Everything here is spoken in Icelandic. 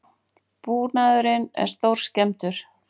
Búnaðurinn er stórskemmdur